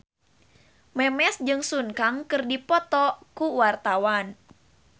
Memes jeung Sun Kang keur dipoto ku wartawan